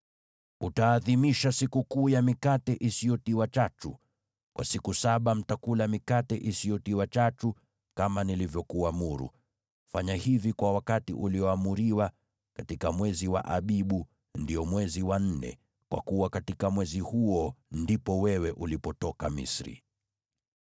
“Utaadhimisha Sikukuu ya Mikate Isiyotiwa Chachu. Kwa siku saba mtakula mikate isiyotiwa chachu, kama nilivyokuamuru. Fanya hivi kwa wakati ulioamriwa, katika mwezi wa Abibu, ndio mwezi wa nne, kwa kuwa katika mwezi huo ndipo wewe ulipotoka Misri.